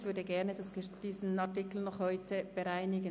Ich würde diesen Artikel gerne noch heute bereinigen.